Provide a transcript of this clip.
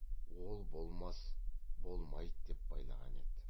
ол болмас болмайды деп байлаған еді